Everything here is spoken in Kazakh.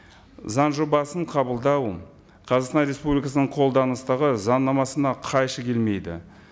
заң жобасын қабылдау қазақстан республикасының қолданыстағы заңнамасына қайшы келмейді